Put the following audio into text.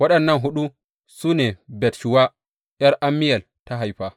Waɗannan huɗu ne Bat shuwa ’yar Ammiyel ta haifa.